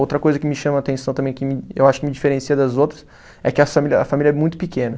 Outra coisa que me chama a atenção também, que me eu acho que me diferencia das outras, é que a fami, a família é muito pequena.